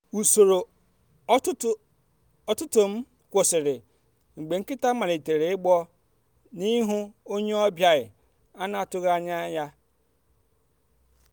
usoro ụtụtụ m kwụsịrị mgbe nkịta malitere igbọ n’ihu onye ọbịa a na-atụghị anya anya ya.